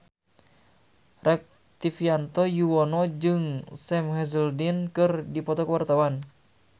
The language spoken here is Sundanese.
Rektivianto Yoewono jeung Sam Hazeldine keur dipoto ku wartawan